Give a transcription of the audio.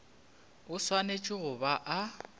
o swanetše go ba a